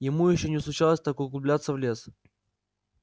ему ещё не случалось так углубляться в лес